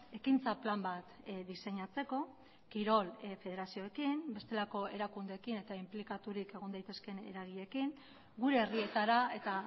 ekintza plan bat diseinatzeko kirol federazioekin bestelako erakundeekin eta inplikaturik egon daitezkeen eragileekin gure herrietara eta